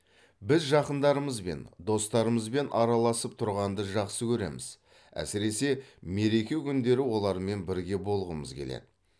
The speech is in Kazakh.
біз жақындарымызбен достарымызбен араласып тұрғанды жақсы көреміз әсіресе мереке күндері олармен бірге болғымыз келеді